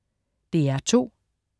DR2: